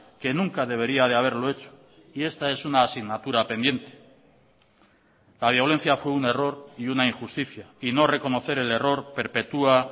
que nunca debería de haberlo hecho y esta es una asignatura pendiente la violencia fue un error y una injusticia y no reconocer el error perpetua